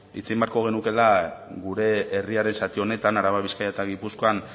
hitz egin beharko genukeela gure herriaren zati honetan araba bizkaia eta gipuzkoan